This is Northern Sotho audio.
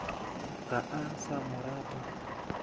ga a sa mo rata